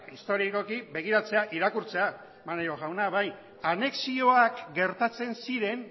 historikoki begiratzea irakurtzea maneiro jauna bai anexioak gertatzen ziren